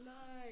Nej